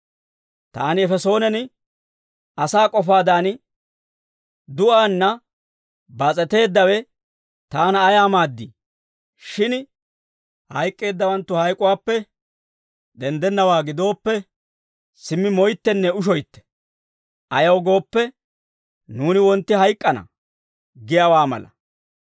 Taani Efesoonen asaa k'ofaadan du'aanna baas'eteeddawe taana ayaa maaddii? Shin hayk'k'eeddawanttu hayk'uwaappe denddennawaa gidooppe, «Simmi moyttenne ushoytte; ayaw gooppe, nuuni wontti hayk'k'ana» giyaawaa mala.